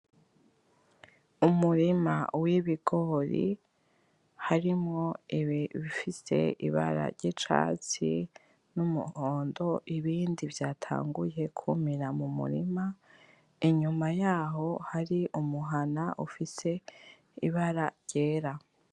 Umurima w'ibigori harimwo ibifise ibara ry'icatsi n'umuhondo ibindi vyatanguye kwumira mumurima, inyuma yaho hari umuhana ufise ibara ryera.